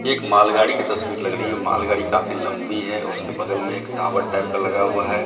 एक मालगाड़ी की तस्वीर लग रही है मालगाड़ी काफी लंबी है उसके बगल मे एक टावर टाइप का लगा हुआ है।